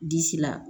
Disi la